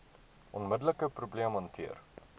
onmiddelike probleem hanteer